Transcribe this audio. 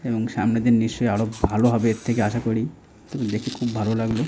এবং সামনের দিন নিশ্চয় আরো ভালো হবে এর থেকে আশা করি এবং দেখে খুবই ভালো লাগলো ।